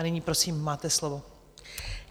A nyní prosím, máte slovo.